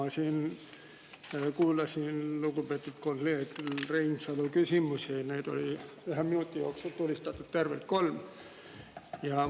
Ma siin kuulasin lugupeetud kolleeg Reinsalu küsimusi, neid sai ühe minuti jooksul tulistatud tervelt kolm.